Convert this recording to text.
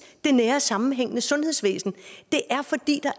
det nære sammenhængende sundhedsvæsen det